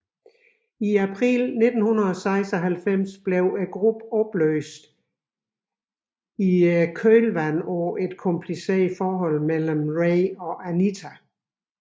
I april 1996 opløstes gruppen i kølvandet på et kompliceret forhold mellem Ray og Anita